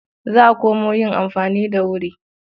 Za a komo yin amfani da wuri.